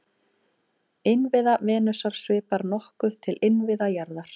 Innviða Venusar svipar nokkuð til innviða jarðar.